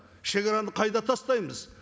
шегараны қайда тастаймыз